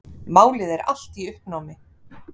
Málið er allt í uppnámi.